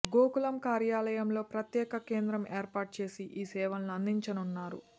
గోకులం కార్యాలయంలో ప్రత్యేక కేంద్రం ఏర్పాటు చేసి ఈ సేవల్ని అందిచనున్నారు